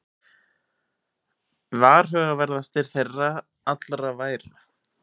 Varhugaverðastir þeirra allra væru